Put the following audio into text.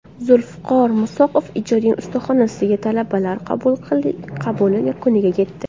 Zulfiqor Musoqov ijodiy ustaxonasiga talabalar qabuli yakuniga yetdi.